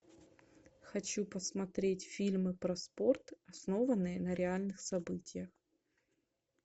хочу посмотреть фильмы про спорт основанные на реальных событиях